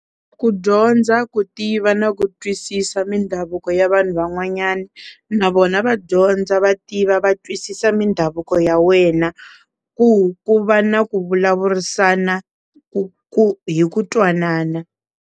Ku dyondza, ku tiva na ku twisisa mindhavuko ya vanhu van'wanyana na vona va dyondza va tiva va twisisa mindhavuko ya wena ku ku va na ku vulavurisana ku hi ku ku twanana.